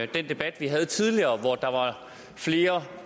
den debat vi havde tidligere hvor der var flere